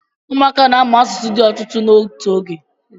ụmụaka na-amụ asụsụ di otutu n'otu oge